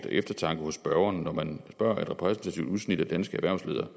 eftertanke hos spørgeren når man spørger et repræsentativt udsnit af danske erhvervsledere